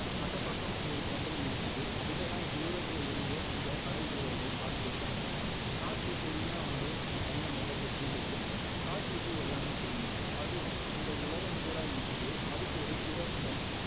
அந்த பக்கம் ஒரு தென்றல் வீசுது இதெல்லாம் தூரத்துல இருந்து அந்த படை வீரர்கள் பாத்துகிட்டு இருக்கிறாங்க காற்று பொறுமையா வந்து அந்த பையன் முகத்தை தீண்டுது காற்றுக்கு எல்லாமே தெரியும் அது இந்த உலகம்பூரா வீசுது அதுக்கு ஒரு பிறப்பிடம்